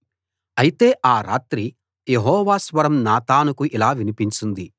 అయితే ఆ రాత్రి యెహోవా స్వరం నాతానుకు ఇలా వినిపించింది